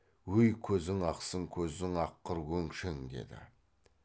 өй көзің ақсын көзің аққыр өңшең деді